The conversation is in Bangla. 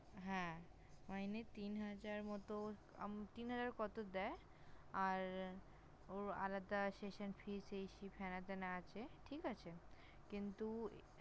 হ্যাঁ! মাইনে তিনহাজার মতো উম তিনহাজার কত দেয়। আর ওর আলাদা Session Fees এই Fees হেনাতেনা আছে। কিন্তু